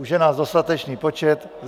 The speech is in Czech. Už je nás dostatečný počet.